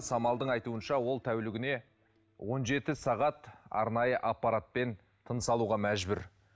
самалдың айтуынша ол тәулігіне он жеті сағат арнайы аппаратпен тыныс алуға мәжбүр